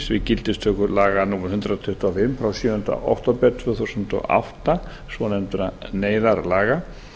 við gildistöku laga númer hundrað tuttugu og fimm frá sjöunda október tvö þúsund og átta svonefndra neyðarlaga